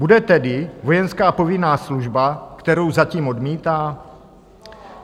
Bude tedy vojenská povinná služba, kterou zatím odmítá?